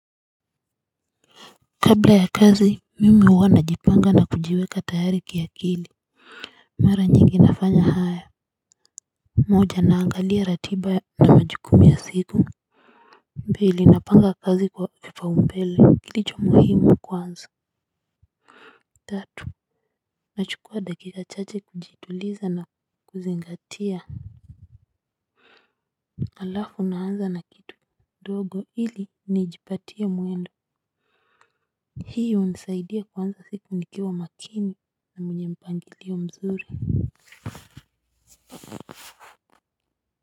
Kabla ya kazi mimi huwa najipanga na kujiweka tayari kiakili. Mara njingi nafanya haya. Moja naangalia ratiba na majukumu ya siku pili napanga kazi kwa vipaumpele kilicho muhimu kwanza. Tatu nachukua dakika chache kujituliza na kuzingatia alafu naanza na kidogo ili nijipatia mwendo hii hunisaidia kuanza siku nikiwa na makini na mpangilio mzuri.